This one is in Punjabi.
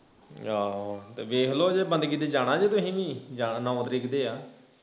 ਆਹੋ ਤੇ ਵੇਖ ਲੋ ਜੇ ਬੰਦਗੀ ਤੇ ਜਾਣਾ ਜੇ ਤੁਹੀ ਵੀ ਜਾਣਾ ਨੌ ਤਰੀਕ ਤੇ ਆ